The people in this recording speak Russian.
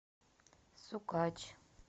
сукач